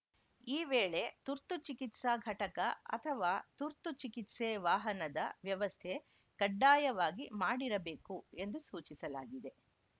ಈ ವೇಳೆ ತುರ್ತು ಚಿಕಿತ್ಸಾ ಘಟಕ ಅಥವಾ ತುರ್ತು ಚಿಕಿತ್ಸೆ ವಾಹನದ ವ್ಯವಸ್ಥೆ ಕಡ್ಡಾಯವಾಗಿ ಮಾಡಿರಬೇಕು ಎಂದು ಸೂಚಿಸಲಾಗಿದೆ